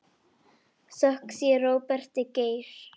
Þökk sé Róberti Geir.